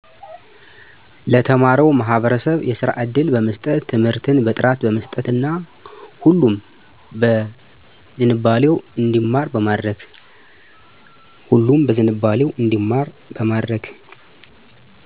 ለተማረው ማህበረሰብ የስራ እድል በመስጠት ትምርትን በጥራት በመስጠት እና ሁሉም በዝንባሌው እንዲማር በማድረግ